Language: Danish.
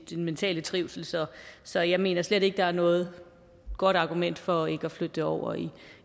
mentale trivsel så så jeg mener slet ikke der er noget godt argument for ikke at flytte det over